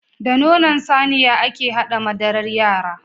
Da nonon Saniya ake haɗa madarar yara